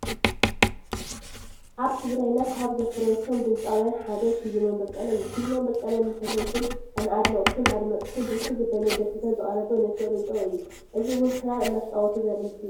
አብ ትግራይና ካብ ዘፍረዮቶም ድምፂውያን ሓደ ፊሊሞን በቀለ እዩ። ፊሊሞን በቀለ ንፈተውትን ንአድነቅቱነ አድመፅቱን ብርክት ዝበለ ደርፍታት ዘቅረበ ንፍዑ ድምፂዊ እዩ። እዚ እውን ክራር እናተፃወተ ዘሪኢ ምስሊ እዩ።